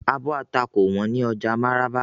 Àbò atá kò wón ni oja Maraba.